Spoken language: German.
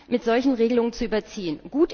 mit solchen Regelungen zu überziehen.